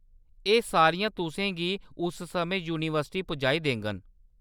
एह्‌‌ सारियां तुसें गी उस समें यूनिवर्सिटी पुजाई देङन।